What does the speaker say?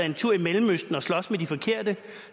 en tur i mellemøsten og slås med de forkerte